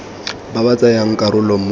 ba ba tsayang karolo mo